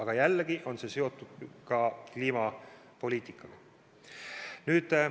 Aga jällegi on see seotud kliimapoliitikaga.